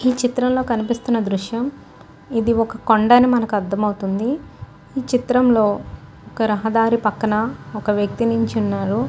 ఈ చిత్రం లో కనిపిస్తున్న దృశ్యం ఇది ఒక కొండ అని మనకు అర్ధం అవుతుంది ఈ చిత్రం లో ఒక రహదారి పక్కన ఒక వ్యక్తి నిలుచునారు.